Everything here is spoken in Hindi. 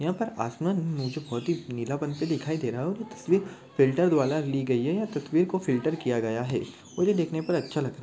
यहा पर आसमान मुझे बहुत ही नीला बन के दिखाई दे रहा है और ये तस्वीर फ़िल्टर द्व्रारा ली गई है या तस्वीर को फ़िल्टर किया गया है और ये देखने पर अच्छा लग--